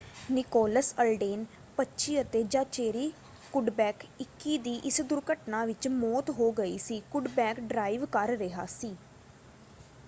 Nicholas Alden 25 ਅਤੇ Zachary Cuddeback 21 ਦੀ ਇਸ ਦੁਰਘਟਨਾ ਵਿੱਚ ਮੌਤ ਹੋ ਗਈ ਸੀ। ਕੁੱਡਬੈਕ ਡਰਾਈਵ ਕਰ ਰਿਹਾ ਸੀ।